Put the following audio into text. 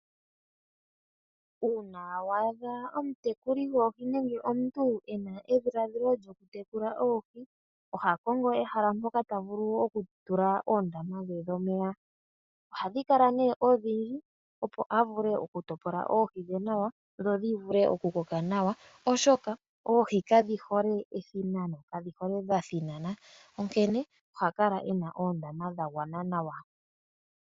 Uuna wa adha omutekuli goohi nenge omuntu ena edhiladhilo lyokutekula oohi oha kongo ehala mpoka ta vulu okutula oondama dhe dhomeya. Ohadhi kala nee odhindji, opo a vule okutopola oohi dhe nawa, dho dhi vule okukoka nawa, oshoka oohi kadhi hole othina, kadhi hole dha thinana, onkene oha kala e na oondama dha gwana nawa.